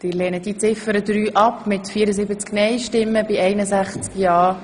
Sie haben auch Ziffer 3 als Motion abgelehnt.